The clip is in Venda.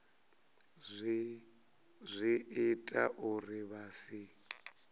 zwi ita uri vha si